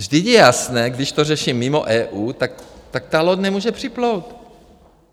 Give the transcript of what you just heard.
Vždyť je jasné, když to řeší mimo EU, tak ta loď nemůže připlout.